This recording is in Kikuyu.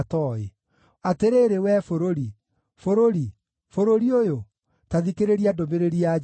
Atĩrĩrĩ, wee bũrũri, bũrũri, bũrũri ũyũ, ta thikĩrĩria ndũmĩrĩri ya Jehova!